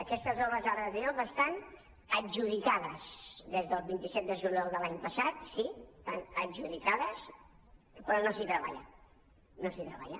aquestes obres d’arc de triomf estan adjudicades des del vint set de juliol de l’any passat sí estan adjudicades però no s’hi treballa no s’hi treballa